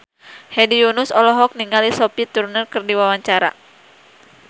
Hedi Yunus olohok ningali Sophie Turner keur diwawancara